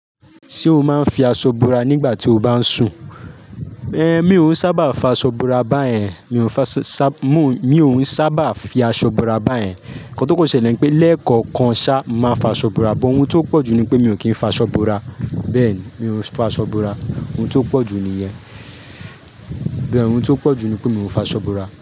Ṣé o máa ń fi aṣọ búra nígbà tí o bá ń sùn? Èé mi ò sábà fa aṣọ búra báyẹn, mi ò ń sábà fi aṣọ búra báyẹn. Ǹkan tó kò ṣẹlẹ̀ ni pé lẹ́ẹ̀kọ̀kan sá máa fa aṣọ búra, but ohun tó pọ̀ ju ni pé mi ò kí ń fa aṣọ búra. Bẹ́ẹ̀ ni, mi ò ń fa aṣọ búra. Ohun tó pọ̀ ju nìyẹn. Bẹ́ẹ̀ ni ohun tó pọ̀ ju ni pé mi ò ń fa aṣọ búra.